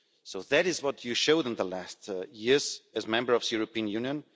So that is what you showed them the last years as a member of the European Union.